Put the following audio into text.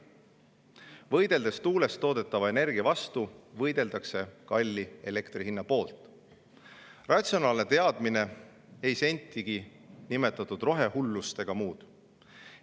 Võideldes tuulest toodetava energia vastu, võideldakse kalli elektrihinna poolt – ratsionaalne teadmine, ei sentigi niinimetatud rohehullust ega muud.